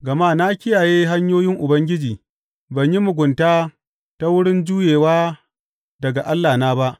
Gama na kiyaye hanyoyin Ubangiji; ban yi mugunta ta wurin juyewa daga Allahna ba.